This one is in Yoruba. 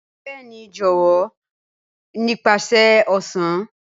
Bẹẹni jọwọ, nipasẹ ọsan.